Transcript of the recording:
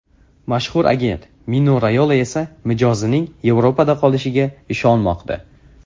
Mashhur agent Mino Rayola esa mijozining Yevropada qolishiga ishonmoqda.